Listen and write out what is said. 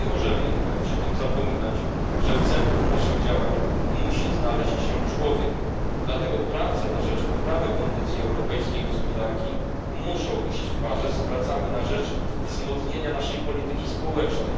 Nie możemy jednak przy tym zapominać, że w centrum naszych działań musi znaleźć się człowiek, dlatego prace na rzecz poprawy kondycji europejskiej gospodarki muszą iść w parze z pracami na rzecz wzmocnienia naszej polityki społecznej.